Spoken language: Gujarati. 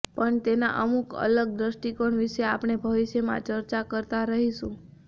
પણ તેના અમુક અલગ દૃષ્ટિકોણ વિશે આપણે ભવિષ્યમાં ચર્ચા કરતા રહીશું